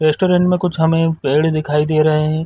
Restaurant में कुछ हमें पेड़ दिखाई दे रहे हैं ।